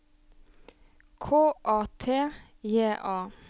K A T J A